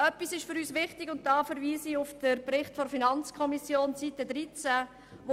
Etwas ist für uns wichtig, und dabei verweise ich auf Seite 13 des Berichts der FiKo: